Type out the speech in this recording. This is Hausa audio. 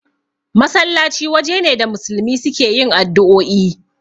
Masallaci waje ne da musulmi suke yin addu'oi